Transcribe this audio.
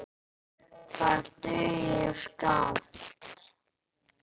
Það dugir skammt.